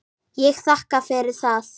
Ég þakka fyrir það.